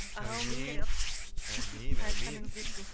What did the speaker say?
әумин әумин әумин айтқаныңыз келсін